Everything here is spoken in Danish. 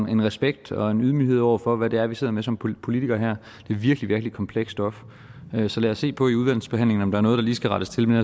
en respekt og ydmyghed over for hvad det er vi sidder med som politikere her det er virkelig virkelig komplekst stof så lad os se på i udvalgsbehandlingen om der er noget der lige skal rettes til men